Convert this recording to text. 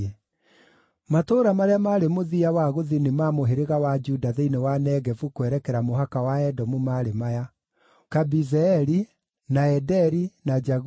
Matũũra marĩa maarĩ mũthia wa gũthini ma mũhĩrĩga wa Juda thĩinĩ wa Negevu kwerekera mũhaka wa Edomu maarĩ maya: Kabizeeli, na Ederi, na Jaguri,